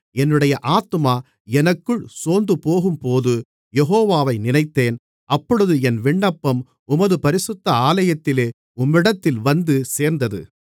என்னுடைய ஆத்துமா எனக்குள் சோர்ந்துபோகும்போது யெகோவாவை நினைத்தேன் அப்பொழுது என் விண்ணப்பம் உமது பரிசுத்த ஆலயத்திலே உம்மிடத்தில் வந்து சேர்ந்தது